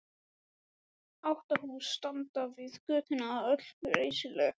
Átta hús standa við götuna, öll reisuleg.